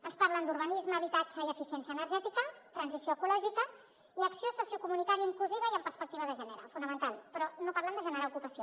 ens parlen d’urbanisme habitatge i eficiència energètica transició ecològica i acció sociocomunitària inclusiva i amb perspectiva de gènere fonamental però no parlen de generar ocupació